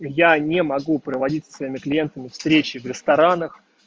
я не могу проводить со своими клиентами встречи в ресторанах